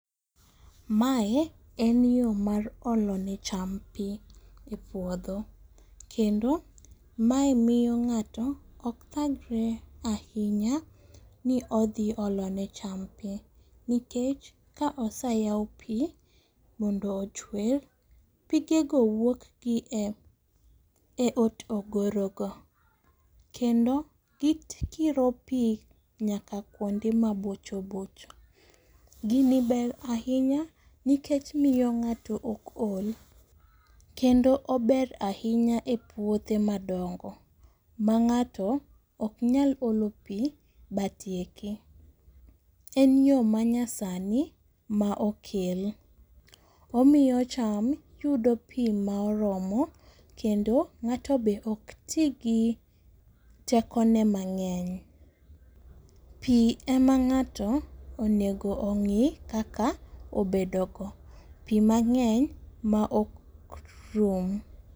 Mae en yo mar olone cham pi e puodho kendo mae miyo ng'ato okthagre ahinya ni odhi olone cham pi nikech ka osayaw pi mondo ochwer, pigego wuokgi e otogorogo kendo gikiro pi nyaka kuonde mabochobocho. Gini ber ahinya nikech miyo ng'ato ok ol kendo ober ahinya e puothe madongo ma ng'ato oknyal olo pi batieki. En yo manyasni ma okel, omiyo cham yudop pi ma oromo kendo ng'ato be okti gi tekone mang'eny. Pi ema ng'ato onego ong'i kaka obedogo, pi mang'eny maok rum.